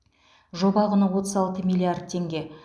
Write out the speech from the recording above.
жоба құны отыз алты миллиард теңге